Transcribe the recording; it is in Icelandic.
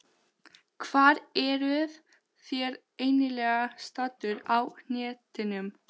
Hvar eruð þér eiginlega staddur á hnettinum?